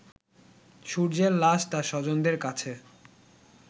সূর্যের লাশ তার স্বজনদের কাছে